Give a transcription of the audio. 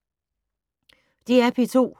DR P2